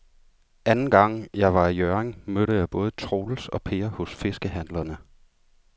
Anden gang jeg var i Hjørring, mødte jeg både Troels og Per hos fiskehandlerne.